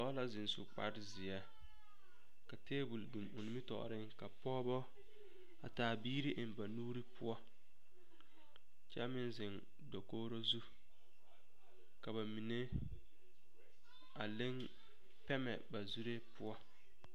Noba la zeŋ su kparezeɛ ka tabol biŋ o nimitɔɔreŋ ka pɔgeba a taa biiri eŋ ba nuuri poɔ kyɛ meŋ zeŋ dakogro zu ka ba mine a le pɛmɛ ba zuri poɔ.